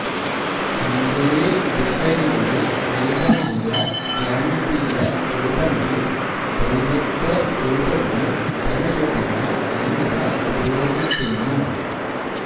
രംഗോലി ഡിസൈനുകളിൽ ലളിതമായ ജ്യാമിതീയ രൂപങ്ങൾ ദൈവത്വ രൂപങ്ങൾ ദള രൂപങ്ങൾ എന്നിവ ഉപയോഗിക്കുന്നു